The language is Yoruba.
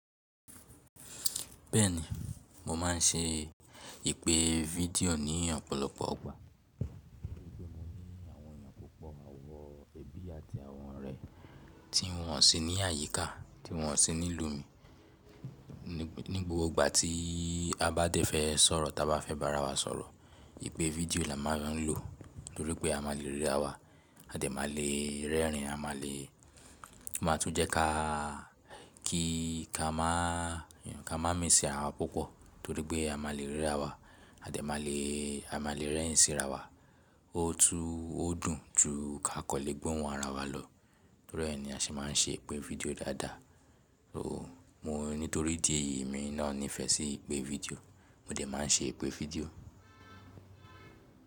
Bẹ́ẹ̀ni, mo máà ń ṣe ìpè fídíò ní ọ̀pọ̀lọpọ̀ gbà. Nítorí pé mo ní àwọn ènìyàn púpọ̀, àwọn ẹbí àti àwọn ọ̀rẹ́ tí wọ́n sì ní àyíká, tí wọ́n sì ní ìlú mi. Ní gbogbo ìgbà tí a bá dé fẹ́ sọ̀rọ̀, ta bá fẹ́ bá ara wa sọ̀rọ̀, ìpè fídíò la máà ń lọ lo. Torí pé a má le rí ara wa, a dẹ̀ má le rẹ́rìn-ín, a má le, ó máa tún jẹ́ ká, kí ká máà ka máa miss ara wa púpọ̀. Torí pé a má le ríra wa, a dẹ̀ má le, a má le rẹ́rìn-ín sí ara wa. O tun, Ó dùn jù kán lè gbohùn ara wa lọ. Torí ẹ ní a sì máa ń ṣe ìpè fídíò dáadáa. Nítorí di èyí, èmi náà nífẹ̀ẹ́ sí ìpè fídíò. Mo dẹ̀ máa ń ṣe ìpè fídíò.